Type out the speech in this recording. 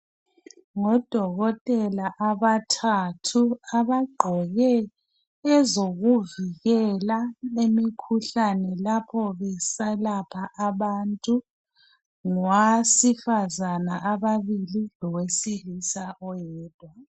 Ngodokotela abathathu, abagqoke ezokuvikela imikhuhlane lapho beselapha abantu. Ngowesefazana ababili lowesilisa oyedwa.